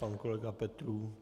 Pan kolega Petrů?